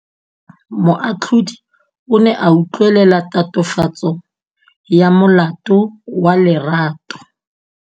Moatlhodi o ne a utlwelela tatofatsô ya molato wa Lerato.